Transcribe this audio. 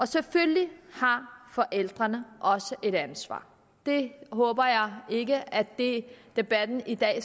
selvfølgelig har forældrene også et ansvar jeg håber ikke at debatten i dag